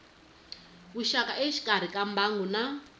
vuxaka exikarhi ka mbangu na